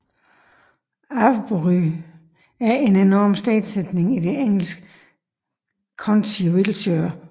Avebury er en enorm stensætning i det engelske county Wiltshire